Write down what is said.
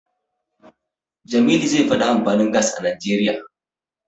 Jamilu zai faɗi amfanin Gas a Najeriya.